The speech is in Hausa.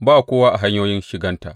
Ba kowa a hanyoyin shiganta.